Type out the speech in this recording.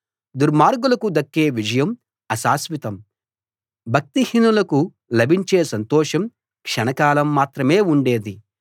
దుర్మార్గులకు దక్కే విజయం అశాశ్వితం భక్తిహీనులకు లభించే సంతోషం క్షణకాలం మాత్రం ఉండేది